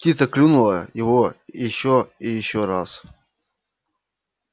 птица клюнула его ещё и ещё раз